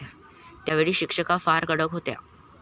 त्यावेळी शिक्षका फार कडक होत्या.